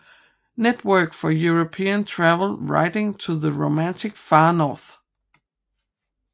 Network for European Travel Writing to the Romantic Far North